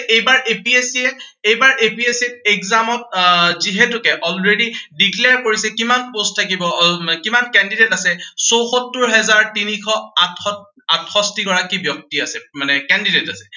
এইবাৰ APSC ৰ, এইবাৰ APSC exam ত আহ যিহেতুকে already declare কৰিছে কিমান post থাকিব, আহ কিমান candidate আছে, চৌষত্তৰ হাজাৰ তিনিশ আঠশষ্ঠি গৰাকী মানে candidate আছে।